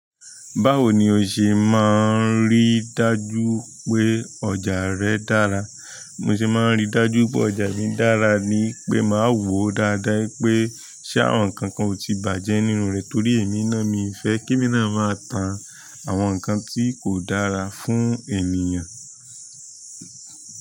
Báwo ni o ṣe máa ń rí dájú pé ọjà rẹ dára? Mo se máa ń rí dájú pé ọjà mi dára ni wipé màá wo dáadáa wipé ṣé àwọn nǹkan kan ò tí bàjẹ́ nínú rẹ̀ torí èmi náà mi ì fẹ́ kí mi náà máa tà àwọn nǹkan tí kò dára fún ènìyàn.